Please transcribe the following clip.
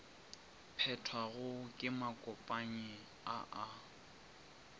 phethwago ke makopanyi a a